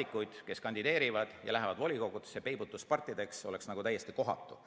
liikmeid, kes kandideerivad ja lähevad volikogudesse, peibutuspartideks, oleks täiesti kohatu.